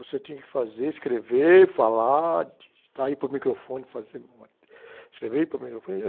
Você tinha que fazer, escrever, falar, digitar e ir para o microfone fazer uma, escrever e ir para o microfone.